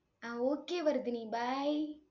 ah okay Vardhini bye